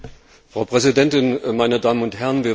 Frau Präsidentin, meine Damen und Herren!